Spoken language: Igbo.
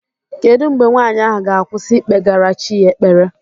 Kedu mgbe nwanyị ahụ ga-akwụsị ikpegara chi ya ekpere?